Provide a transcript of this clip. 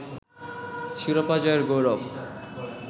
শিরোপা জয়ের গৌরব